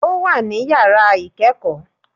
Ó wà ní yàrá ikẹ́kọ̀ọ́